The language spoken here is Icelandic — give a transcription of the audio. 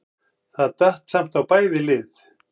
Það datt samt á bæði lið.